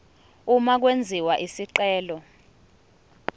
uma kwenziwa isicelo